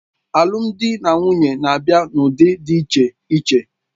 Alụmdi na nwunye na-abịa n'ụdị dị iche iche